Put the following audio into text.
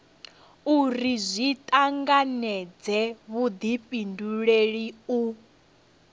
uri zwi tanganedze vhudifhinduleli u